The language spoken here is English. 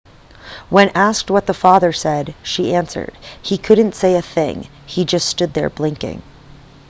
when asked what the father said she answered he couldn't say a thing he just stood there blinking